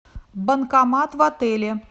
банкомат в отеле